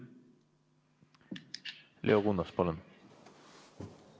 Leo Kunnas, palun!